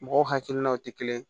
Mɔgɔw hakilinaw tɛ kelen ye